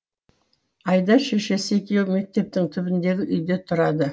айдар шешесі екеуі мектептің түбіндегі үйде тұрады